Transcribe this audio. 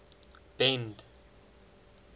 bend